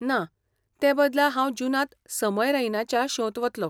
ना, ते बदला हांव जुनांत समय रैनाच्या शोंत वतलो.